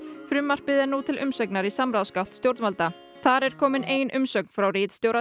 frumvarpið er nú til umsagnar í samráðsgátt stjórnvalda þar er komin ein umsögn frá ritstjóra